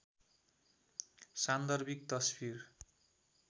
सान्दर्भिक तस्वीर